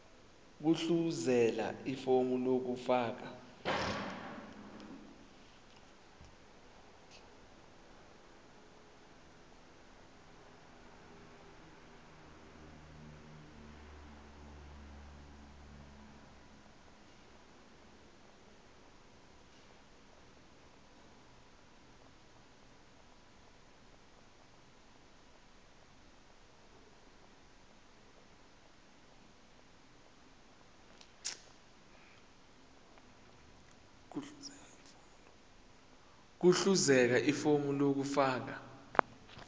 gudluzela ifomu lokufaka